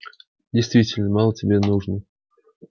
действительно мало тебе нужно